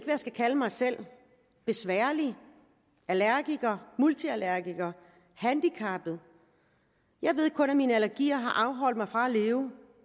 jeg skal kalde mig selv besværlig allergiker multiallergiker handicappet jeg ved kun at min allergi har afholdt mig fra at leve